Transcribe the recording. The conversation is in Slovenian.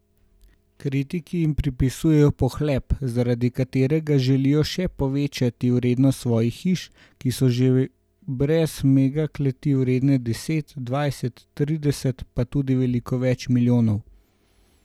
Kritiki jim pripisujejo pohlep, zaradi katerega želijo še povečati vrednost svojih hiš, ki so že brez megakleti vredne deset, dvajset, trideset pa tudi veliko več milijonov.